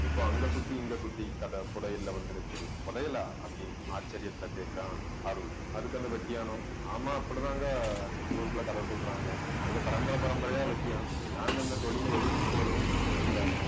இப்ப அங்க சுத்தி, இங்க சுத்தி கத புதையல்ல வந்து நிக்குது புதையலா அப்படின்னு ஆச்சரியத்துல கேட்கிறான் அருள் அதுக்கு அந்த வெட்டியானும். ஆமா, அப்படிதாங்க ஆஹ் ஊருக்குள்ள கதை சொல்றாங்க நாங்க பரம்பரை பரம்பரையா வெட்டியான் நாங்க இந்த தொழிலை எடுக்கும் போதே இந்த